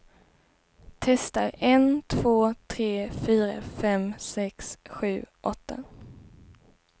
Testar en två tre fyra fem sex sju åtta.